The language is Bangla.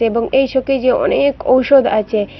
এবং এই শোকেজে অনেক ঔষধ আচে।